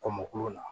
Kɔn mopilɔ la